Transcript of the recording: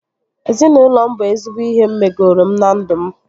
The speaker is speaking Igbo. Ezinaụlọ m bụ ezigbo ihe megoro m na ndụ m